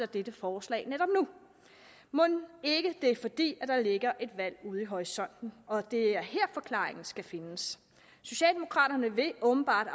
dette forslag netop nu mon ikke det er fordi der ligger et valg ude i horisonten og at det er her forklaringen skal findes socialdemokraterne vil åbenbart